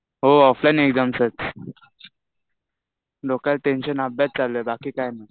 हो. Offline exams आहेत. डोक्याला टेंशन अभ्यास चालू आहे. बाकी काही नाही.